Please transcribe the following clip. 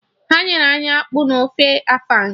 Ha nyere anyị akpụ na ofe afang